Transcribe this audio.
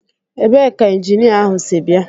Ebee ka injinia ahụ si bịa?